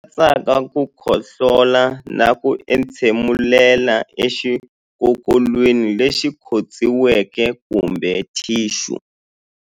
Lama katsaka ku khohlola na ku entshemulela exikokolweni lexi khotsiweke kumbe thixu.